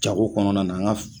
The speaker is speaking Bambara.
Jago kɔnɔna na an ka